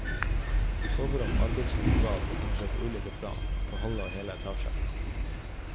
Soverom, arbeidsrom og bad befinner seg på ulike plan, på halve og hele etasjer.